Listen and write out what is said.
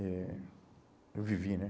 Eh eu vivi, né?